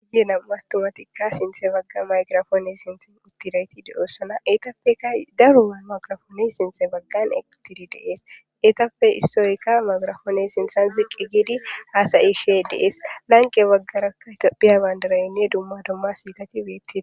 Yelaga aththumathikka sinththa bagga maygiraphoone sinththen uththida ethi de7oosona; eethappekka daro maygraphoonee sinththa baggan eqqi 7uththidi de7ees; ethappe issoykka maygraphoone sinththan ziqqi giidi haasa7ishee de7ees; lanqqe baggarakka ethoophphiya banddiraynne dumma dumma siilethi beeththees.